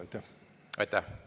Aitäh!